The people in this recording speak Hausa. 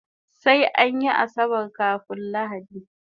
Sai anyi asabar kafun lahadi